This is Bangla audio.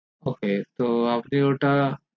ok তো আপনে ওটা